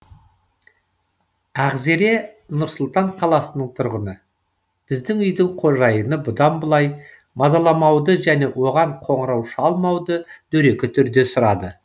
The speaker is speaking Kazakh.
ақзере нұр сұлтан қаласының тұрғыны бізге үйдің қожайыны бұдан былай мазаламауды және оған қоңырау шалмауды дөрекі түрде сұрады